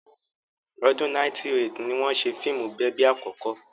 Ọdún 1908 ni wọ́n ṣe fíìmù bèbí àkọ́kọ́.